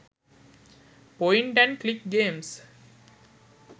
point and click games